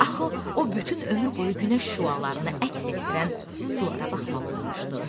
axı o bütün ömür boyu günəş şüalarını əks etdirən sulara baxmalı olmuşdu.